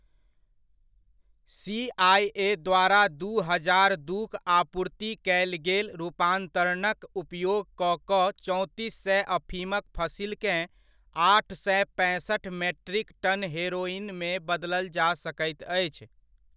CIA. द्वारा दू हजार दूक आपूर्ति कयल गेल रूपान्तरणक उपयोग कऽ कऽ चौंतिस सए अफीमक फसिलकेँ आठ सए पैंसठ मेट्रिक टन हेरोइनमे बदलल जा सकैत अछि।